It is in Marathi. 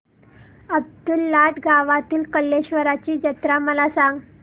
अब्दुललाट गावातील कलेश्वराची जत्रा मला सांग